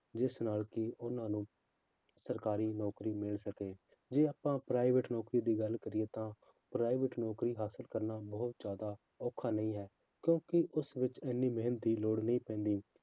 ਜਿਸ ਨਾਲ ਕਿ ਉਹਨਾਂ ਨੂੰ ਸਰਕਾਰੀ ਨੌਕਰੀ ਮਿਲ ਸਕੇ ਜੇ ਆਪਾਂ private ਨੌਕਰੀ ਦੀ ਗੱਲ ਕਰੀਏ ਤਾਂ private ਨੌਕਰੀ ਹਾਸਲ ਕਰਨਾ ਬਹੁਤ ਜ਼ਿਆਦਾ ਔਖਾ ਨਹੀਂ ਹੈ ਕਿਉਂਕਿ ਉਸ ਵਿੱਚ ਇੰਨੀ ਮਿਹਨਤ ਦੀ ਲੋੜ ਨਹੀਂ ਪੈਂਦੀ